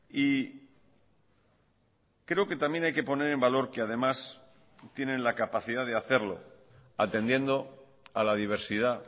y creo que también hay que poner en valor que además tienen la capacidad de hacerlo atendiendo a la diversidad